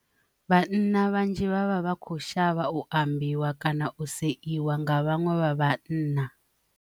Vhanna vhanzhi vhavha vha kho shavha u ambiwa kana u si iwa nga vhaṅwe vha vhanna.